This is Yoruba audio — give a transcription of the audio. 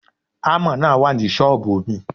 Ámà náà wà ní ṣọ́ọ̀bù mi.